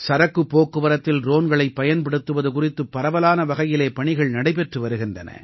சரக்குப் போக்குவரத்தில் ட்ரோன்களைப் பயன்படுத்துவது குறித்து பரவலான வகையிலே பணிகள் நடைபெற்று வருகின்றன